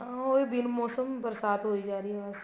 ਉਹੀ ਬਿਨ ਮੋਸਮ ਦੀ ਬਰਸਾਤ ਹੋਈ ਜਾ ਰਹੀ ਹੈ ਬੱਸ